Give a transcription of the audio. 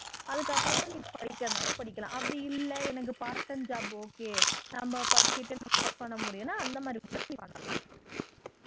அதுக்கப்புறமா நீ படிக்கிறது நாளும் படிக்கலாம் அப்படி இல்ல எனக்கு part time job okay நம்ம படிச்சுக்கிட்டே work பண்ண முடியும்ன்னா அந்த மாதிரி கூட நீ பண்ணலாம்